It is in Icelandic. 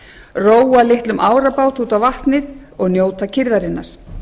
róa litlum árabát út á vatnið og njóta kyrrðarinnar